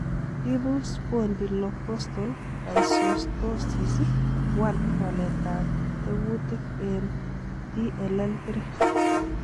Ibu Spondylocostal dysostosis 1 waletab tekutik en DLL3 .